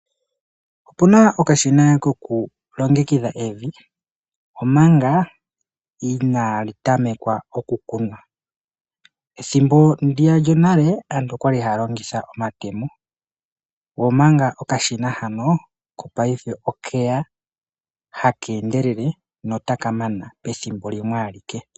Opuna okashina kokulongekidha evi omanga inaali tamekwa okukunwa. Methimbo lyonale aantu okwali haya longitha omatemo omanga okashina hano kopaife okeya taka endelele nota ka mana pethimbo limwe ailke.